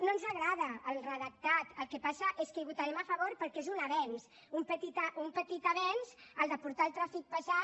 no ens agrada el redactat el que passa és que hi votarem a favor perquè és un avenç un petit avenç el de portar el trànsit pesant